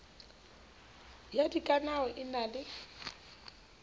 ya dikanao e na le